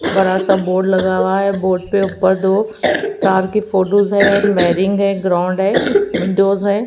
बड़ा सा बोर्ड लगा हुआ है बोर्ड पे ऊपर दो तार की फोटोज़ हैं वेयरिंग है ग्राउंड है विंडोज़ हैं।